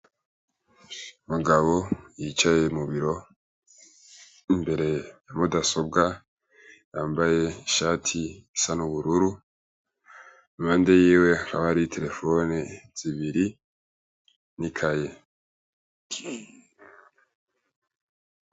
Umugabo yicaye mu biro imbere ya mudasobwa, yambaye ishati isa n' ubururu, impande yiwe haba hariho iterefone zibiri n' ikaye.